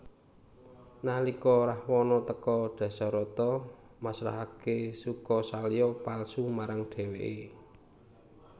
Nalika Rahwana teka Dasarata masrahake Sukasalya palsu marang dheweke